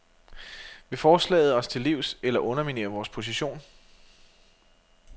Vil forslaget os til livs eller underminere vores position?